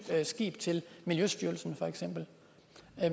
skib til miljøstyrelsen